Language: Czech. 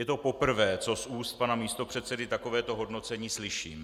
Je to poprvé, co z úst pana místopředsedy takovéto hodnocení slyším.